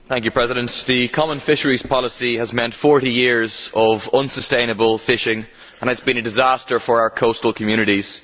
Mr President, the common fisheries policy has meant 40 years of unsustainable fishing and it has been a disaster for our coastal communities.